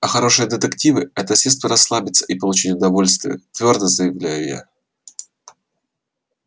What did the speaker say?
а хорошие детективы это средство расслабиться и получить удовольствие твёрдо заявляю я